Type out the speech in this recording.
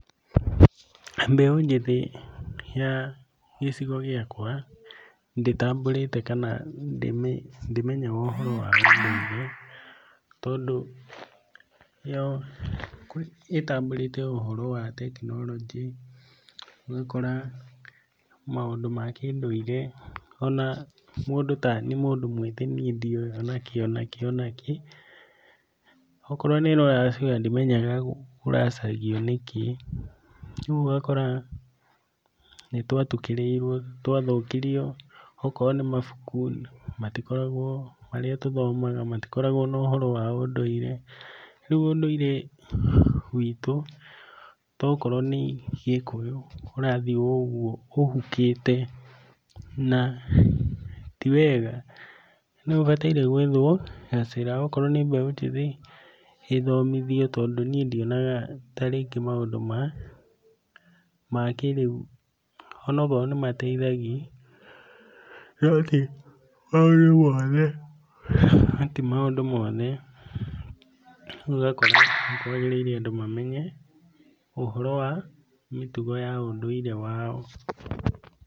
Mbeu njĩthi ya gĩcigo gĩakwa, ndĩtambũrĩte kana ndĩmenyaga ũhoro wa ũndũire, tondũ, yo ĩtambũrĩte ũhoro wa tekinoronjĩ, ũgakora maũndũ makĩndũire, onaniĩ ndiũĩ onakĩ onakĩ, okorwo nĩ rũracio ona ndimenyaga kũracagio nĩkĩ, rĩu ũgakora nĩ twatukĩrĩirwo, okorwo nĩ mabuku matikoragwo, marĩa tũthomaga matikoragwo. Rĩu ũndũire witũ, tokorwo nĩ gĩkũyũ, ũrathiĩ ũguo ũhukĩte, na tiwega. Nĩ habataire hethwo gacĩra, okorwo ĩthomothio nĩ mbeũ njĩthĩ ĩthomothio tondũ ndionaga tarĩngĩ maundũ makĩrĩu onakorwo nĩmateithagia, nĩ atĩ timaũndũ mothe, ũgakora nĩkwagĩrĩirwo andũ mamenye ũhoro wa mĩtugo ya ũndũire wao.